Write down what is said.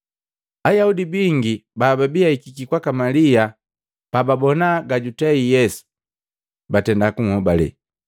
Ayaudi bingi bababi ahikiki kwaka Malia pababona gajutei Yesu, batenda kunhobale.